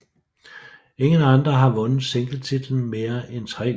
Ingen andre har vundet singletitlen mere end tre gange